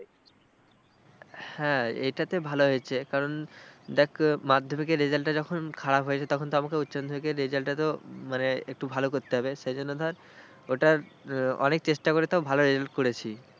হ্যাঁ এটাতে ভালো হয়েছে কারণ দেখ মাধ্যমিকের result টা যখন খারাপ হয়েছে তখন তো আমাকে উচ্চ মাধ্যমিকের result টা তো মানে একটু ভালো করতে হবে সেজন্য ধর ওটা অনেক চেষ্টা করে তো ভালো result করেছি।